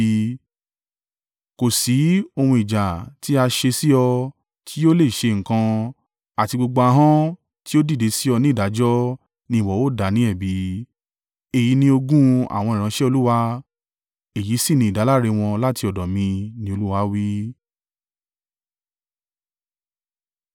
kò sí ohun ìjà tí a ṣe sí ọ tí yóò lè ṣe nǹkan, àti gbogbo ahọ́n tí ó dìde sí ọ ní ìdájọ́ ni ìwọ ó dá ní ẹ̀bi. Èyí ni ogún àwọn ìránṣẹ́ Olúwa, èyí sì ni ìdáláre wọn láti ọ̀dọ̀ mi,” ni Olúwa wí.